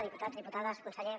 diputats diputades conseller